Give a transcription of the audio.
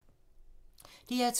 DR2